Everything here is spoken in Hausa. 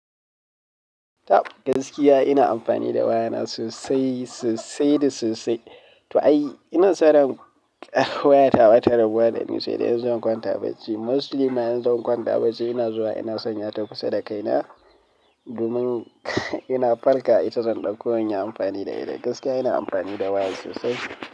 Ta gaskiya ina amfani da waya na sosai, sosai da sosai. To ai ina saran wayata ba ta rabuwa dani saidai in zan kwanta bacci. Mostly ma in zan kwanta bacci ina zuwa ina sanya ta kusa da kaina domin ina farka ita zan ɗauko in yi amfani da ita. Gaskiya ina amfani da waya sosai.